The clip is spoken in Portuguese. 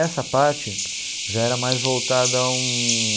Essa parte já era mais voltada a um...